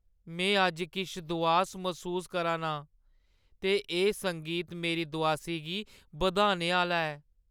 में अज्ज किश दोआस मसूस करा 'रना आं ते एह् संगीत मेरी दोआसी गी बधाने आह्‌ला ऐ।